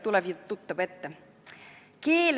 Tuleb ju tuttav ette?